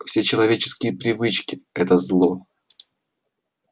все человеческие привычки это зло